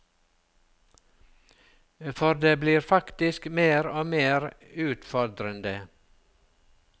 For det blir faktisk mer og mer utfordrende.